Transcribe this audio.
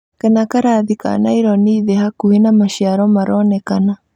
kana karathi ka naironi thĩ hakuhĩ na maciaro maronekana